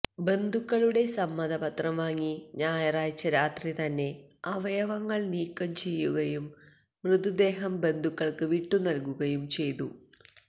ബന്ധുക്കളുടെ സമ്മതപത്രം വാങ്ങി ഞായറാഴ്ച്ച രാത്രിതന്നെ അവയവങ്ങൾ നീക്കം ചെയ്യുകയും മൃതദേഹം ബന്ധുക്കൾക്ക് വിട്ടു നൽകുകയും ചെയ്തു